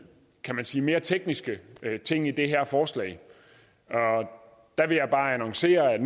kan man sige mere tekniske ting i det her forslag og der vil jeg bare annoncere at